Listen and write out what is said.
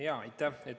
Aitäh!